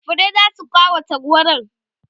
furrai zasu kawata wurin